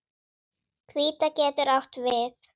Hvíta getur átt við